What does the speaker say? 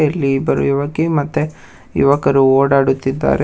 ಇಲ್ಲಿ ಇಬ್ಬರು ಯುವಕಿ ಮತ್ತೆ ಯುವಕರು ಓಡಾಡುತ್ತಿದ್ದಾರೆ ಮತ್--